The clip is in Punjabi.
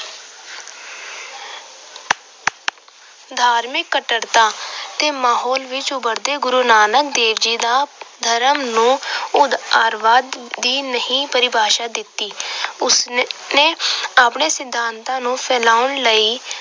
ਧਾਰਮਿਕ ਕੱਟੜਤਾ ਦੇ ਮਾਹੌਲ ਵਿੱਚ ਉਭਰਦੇ ਗੁਰੂ ਨਾਨਕ ਦੇਵ ਜੀ ਦਾ ਧਰਮ ਨੂੰ ਉਦਾਰਵਾਦ ਦੀ ਨਵੀਂ ਪਰਿਭਾਸ਼ਾ ਦਿੱਤੀ। ਉਸ ਨੇ ਆਪਣੇ ਸਿਧਾਤਾਂ ਨੂੰ ਫੈਲਾਉਣ ਲਈ